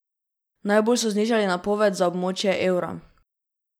Najbolj so znižali napoved za območje evra.